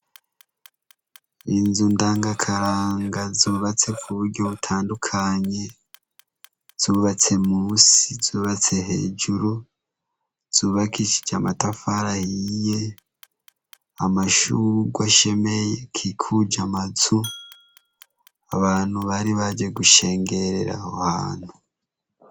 Inzu ndangakaranga zubatse ku buryo butandukanye izubatse munsi ,izubatse hejuru , izubakishije amatafari ahiye, amashurwe ashemeye akikuje amazu abantu bari baje gushengerera aho hantu.